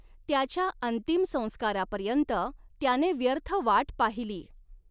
त्याच्या अंतिम संस्कारापर्यंत त्याने व्यर्थ वाट पाहिली.